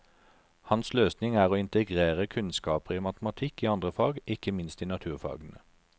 Hans løsning er å integrere kunnskaper i matematikk i andre fag, ikke minst i naturfagene.